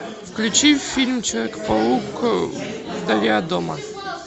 включи фильм человек паук вдали от дома